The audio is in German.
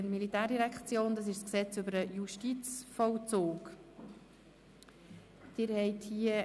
Es handelt sich um das Gesetz zum Justizvollzug (Justizvollzugsgesetz, JVG).